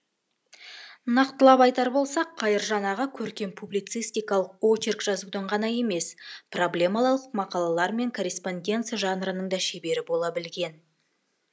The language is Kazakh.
нақтылап айтар болсақ қайыржан аға көркем публицистикалық очерк жазудың ғана емес проблемалық мақалалар мен корреспонденция жанрының да шебері бола білген